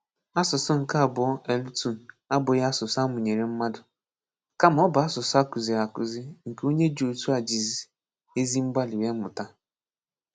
Asụ̀sụ́ nke abụ̀ọ̀ (L2) abụghị asụ̀sụ́ a mụ̀nyere mmadụ, kàmá ọ bụ asụ̀sụ́ a kụ́zìrì àkụ́zì, nke onye dị otu a jìzì ezi mgbàlí wéè mụ́tà.